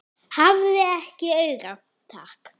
Hafði ekki áhuga, takk.